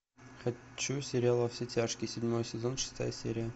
хочу сериал во все тяжкие седьмой сезон шестая серия